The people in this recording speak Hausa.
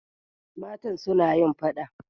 Matan suna yin fada.